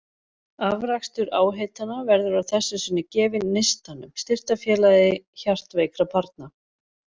Afrakstur áheitanna verður að þessu sinni gefinn Neistanum, styrktarfélagi hjartveikra barna.